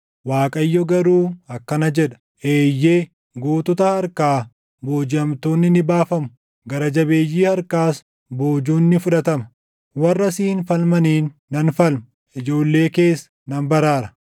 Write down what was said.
Waaqayyo garuu akkana jedha: “Eeyyee, gootota harkaa boojiʼamtoonni ni baafamu; gara jabeeyyii harkaas boojuun ni fudhatama; warra siin falmaniin nan falma; ijoollee kees nan baraara.